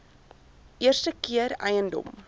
eerste keer eiendom